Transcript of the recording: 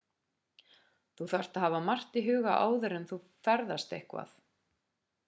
þú þarft að hafa margt í huga áður þú og þegar þú ferðast eitthvað